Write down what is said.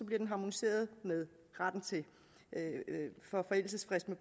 bliver den harmoniseret med forældelsesfristen